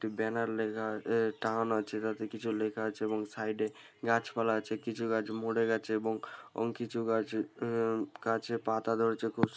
একটি ব্যানার লেখা এ টাঙানো আছে । তাতে কিছু লেখা আছে এবং সাইড এ গাছপালা আছে । কিছু গাছ মরে গেছে এবং অং কিছু গাছ অ্যাঁ গাছে পাতা ধরেছে খুব স--